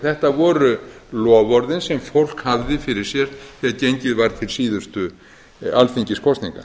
þetta voru loforðin sem fólk hafði fyrir sér þegar gengið var til síðustu alþingiskosninga